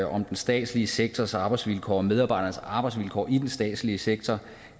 om den statslige sektors arbejdsvilkår og medarbejdernes arbejdsvilkår i den statslige sektor